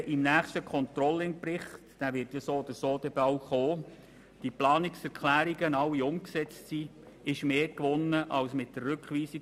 Wenn diese Planungserklärungen bis zum nächsten Controlling-Bericht alle umgesetzt sind, ist mehr gewonnen als mit der Rückweisung.